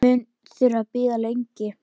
Mun þurfa að bíða lengi.